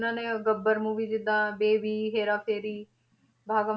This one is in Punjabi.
ਇਹਨਾਂ ਨੇ ਗੱਬਰ movie ਜਿੱਦਾਂ, ਬੇਬੀ, ਹੇਰਾਫੇਰੀ, ਭਾਗਮ